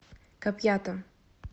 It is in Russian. капьята